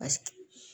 Paseke